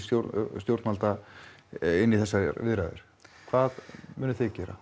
stjórnvalda inn í þessar viðræður hvað munið þið gera